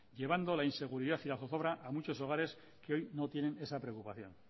llevando la inseguridad y la zozobra a muchos hogares que hoy no tienen esa preocupación